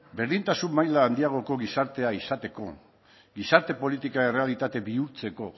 berdintasun maila handiagoko gizartea izateko gizarte politika errealitate bihurtzeko